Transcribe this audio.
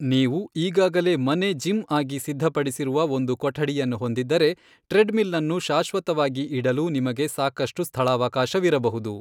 ನೀವು ಈಗಾಗಲೇ ಮನೆ ಜಿಮ್ ಆಗಿ ಸಿದ್ಧಪಡಿಸಿರುವ ಒಂದು ಕೊಠಡಿಯನ್ನು ಹೊಂದಿದ್ದರೆ, ಟ್ರೆಡ್ಮಿಲನ್ನು ಶಾಶ್ವತವಾಗಿ ಇಡಲು ನಿಮಗೆ ಸಾಕಷ್ಟು ಸ್ಥಳಾವಕಾಶವಿರಬಹುದು.